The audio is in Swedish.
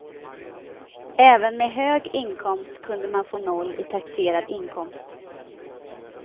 Även med hög inkomst kunde man få noll i taxerad inkomst.